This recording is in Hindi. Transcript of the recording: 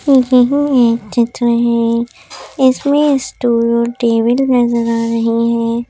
यह एक चित्र है इसमें स्टूल और टेबिल नजर आ रहे हैं।